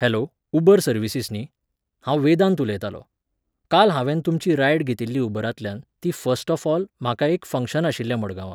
Hello, Uber services न्ही? हांव वेदांत उलयतालों. काल हावेंन तुमची रायड घेतिल्ली उबरांतल्यान, ती फस्ट ऑफ ऑल, म्हाका एक फंग्शन आशिल्लें मडगांवां